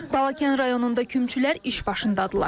Balakən rayonunda kümçülər iş başındadırlar.